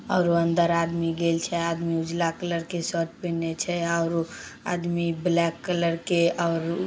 और अंदर आदमी गेल छै आदमी उजला कलर के शर्ट पहिने छै और आदमी ब्लैक कलर के और--